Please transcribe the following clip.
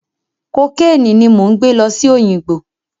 Kokéènì ni mò ń gbẹ́ lọ sí Òyìngbò.